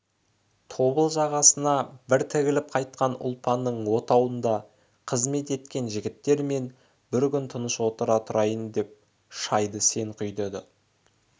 тобыл жағасына бір тігіліп қайтқан ұлпанның отауында қызмет еткен жігіттер мен бір күн тыныш отыра тұрайын да шайды сен құй деді